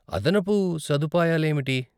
అదనపు సదుపాయాలేమిటి?